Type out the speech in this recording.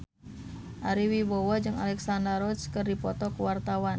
Ari Wibowo jeung Alexandra Roach keur dipoto ku wartawan